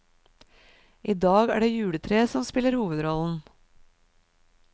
I dag er det juletreet som spiller hovedrollen.